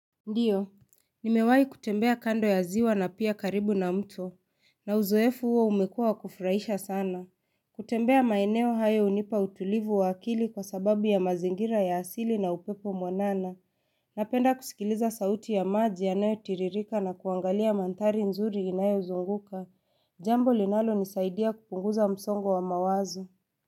Ndio. Nimewahi kutembea kando ya ziwa na pia karibu na mto. Na uzoefu huo umekuwa wa kufurahisha sana. Kutembea maeneo hayo hunipa utulivu wa akili kwa sababu ya mazingira ya asili na upepo mwanana. Napenda kusikiliza sauti ya maji yanayotiririka na kuangalia mandhari nzuri inayozunguka. Jambo linalonisaidia kupunguza msongo wa mawazo.